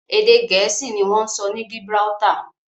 Èdè Gẹ̀ẹ́sì ni wọ́n ń sọ ní Gibraltar